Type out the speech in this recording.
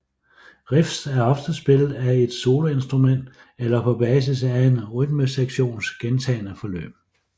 Riffs er ofte spillet af et soloinstrument eller på basis af en rytmesektions gentagne forløb